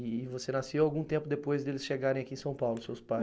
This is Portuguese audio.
E você nasceu algum tempo depois deles chegarem aqui em São Paulo, seus pais?